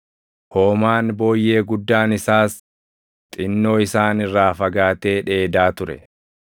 Hoomaan booyyee guddaan isaas xinnoo isaan irraa fagaatee dheedaa ture.